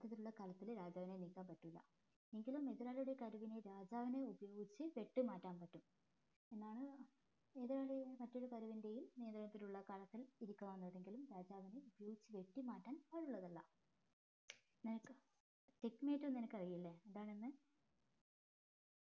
നിനക്കറീലെ എന്താണെന്ന്